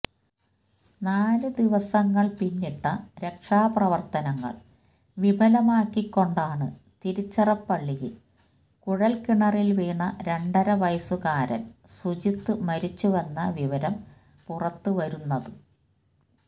നാലു ദിവസങ്ങള് പിന്നിട്ട രക്ഷാപ്രവര്ത്തനങ്ങള് വിഫലമാക്കിക്കൊണ്ടാണ് തിരിച്ചിറപ്പള്ളിയില് കുഴല്കിണറില് വീണ രണ്ടരവയസുകാരന് സുജിത് മരിച്ചുവെന്ന വിവരം പുറത്ത് വരുന്നത്